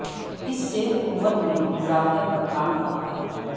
اس سے قوت میں اضافے پر کام کرتا ہے